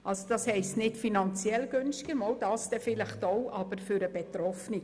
Das bedeutet nicht unbedingt finanziell günstiger – vielleicht zwar auch – aber vor allem für den Betroffenen.